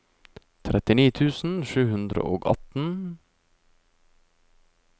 trettini tusen sju hundre og atten